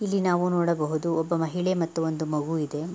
ಇಲ್ಲಿ ನಾವು ನೋಡಬಹುದು ಒಬ್ಬ ಮಹಿಳೆ ಮತ್ತು ಒಂದು ಮಗು ಇದೆ.